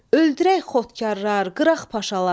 Öldürək xudkarlar, qıraq paşalar.